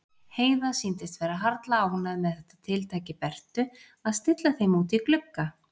Heiða sýndist vera harla ánægð með þetta tiltæki Bertu að stilla þeim út í glugga.